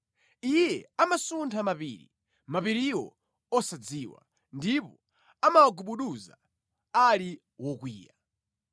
Iye amasuntha mapiri, mapiriwo osadziwa, ndipo amawagubuduza ali wokwiya.